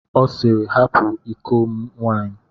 Ọ sịịrị, hapụ iko m nwaanyị.